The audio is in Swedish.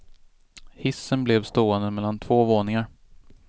Hissen blev stående mellan två våningar.